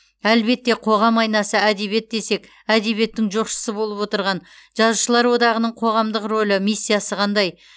әлбетте қоғам айнасы әдебиет десек әдебиеттің жоқшысы болып отырған жазушылар одағының қоғамдық рөлі миссиясы қандай